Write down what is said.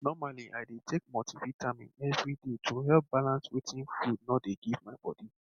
normaly i dey take multivitamin every day to help balance wetin food nor dey give my body